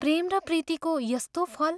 प्रेम र प्रीतिको यस्तो फल...।